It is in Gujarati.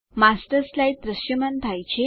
માસ્ટર સ્લાઇડ દ્રશ્યમાન થાય છે